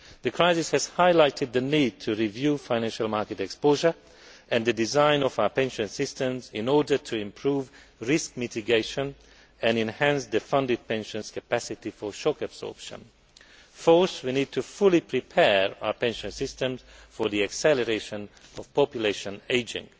The crisis has highlighted the need to review financial market exposure and the design of our pension systems in order to improve risk mitigation and enhance the funded pension's capacity for shock absorption. Fourth, we need to fully prepare our pension systems for the acceleration of population ageing.